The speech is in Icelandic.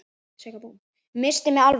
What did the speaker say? Missti mig alveg!